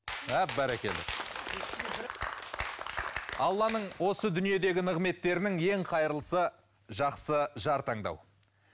а бәрекелді алланың осы дүниедегі нығметтерінің ең қайырлысы жақсы жар таңдау